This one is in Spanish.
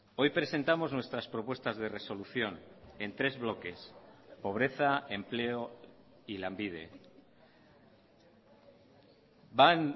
hoy presentamos nuestras propuestas de resolución en tres bloques pobreza empleo y lanbide van